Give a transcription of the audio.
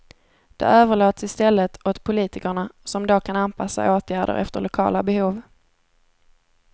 Det överlåts i stället åt politikerna som då kan anpassa åtgärder efter lokala behov.